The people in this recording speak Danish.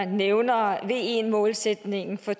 nævner ve målsætningen for